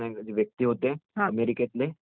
त्यांनी ह्याचा शोध घेतला